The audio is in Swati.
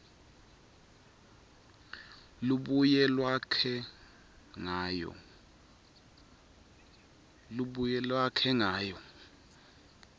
lubuye lwakhe ngayo